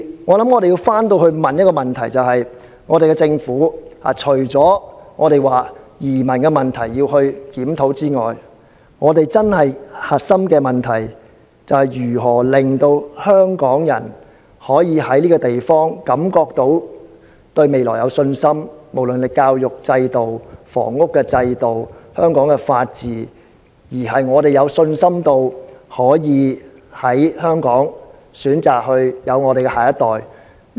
我想要反過來要問一個問題，就是政府除了要檢討移民問題外，本港真正的核心問題，就是如何讓香港人對香港這個地方可以感到有信心——無論是教育、房屋、法治——可以在香港選擇生育下一代。